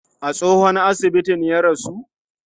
A tsohon asibitin ya rasu?